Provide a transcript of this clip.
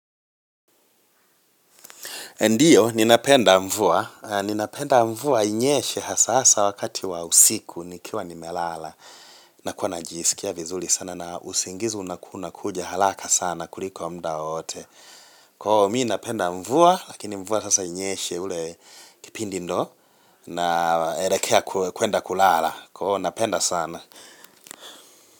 Ndio, ninapenda mvua. Ninapenda mvua inyeshe hasasa wakati wa usiku nikiwa nimelala. Na kuwa najisikia vizuli sana na usingizi unaku nakuja halaka sana kuliko mdao ote. Kwao, miinapenda mvua, lakini mvua sasa inyeshe ule kipindi ndo na erekea kuenda kulala. Kwoo, napenda sana.